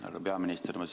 Härra peaminister!